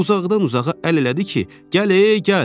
Uzaqdan-uzağa əl elədi ki, gəl, gəl.